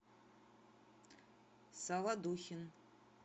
солодухин